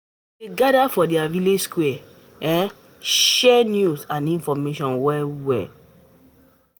We dey gather for di village square, um share um news and information. um